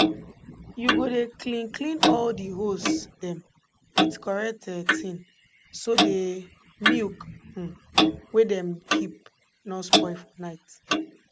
u go dey clean clean all de hose dem with correct um tin so dey milk um wey dem keep nor spoil for night